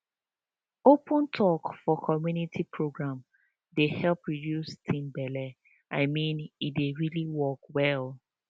open talk for community program dey help reduce teen belle i mean e dey really work well